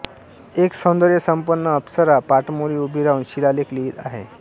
एक सौंदर्यसंपन्न अप्सरा पाठमोरी उभी राहून शिलालेख लिहीत आहे